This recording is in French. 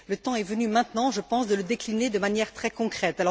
Le temps est venu maintenant, je pense, de le décliner de manière très concrète.